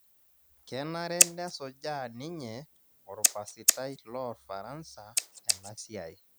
Kenare nesujaa ninye orpasitai loorfaransa ena siai